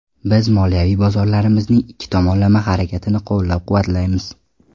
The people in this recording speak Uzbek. Biz moliyaviy bozorlarimizning ikki tomonlama harakatini qo‘llab-quvvatlaymiz.